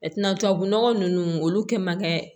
tubabu nɔgɔ nunnu olu kɛ man kɛ